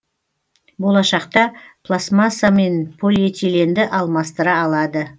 болашақта пластмасса мен полиэтиленді алмастыра алады